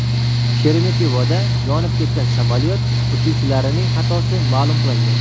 Sheremetyevoda yonib ketgan samolyot uchuvchilarining xatosi ma’lum qilindi.